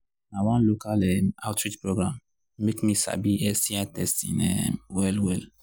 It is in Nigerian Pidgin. na one local um outreach program make me sabi sti testing um well well